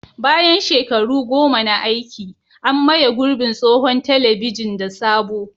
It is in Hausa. Bayan shekaru goma na aiki, an maye gurbin tsohon telebijin da sabo.